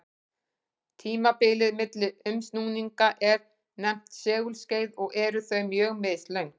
Tímabilið milli umsnúninga er nefnt segulskeið og eru þau mjög mislöng.